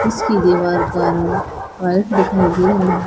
इसकी दीवार का व्हाइट दिखाई दे रहा--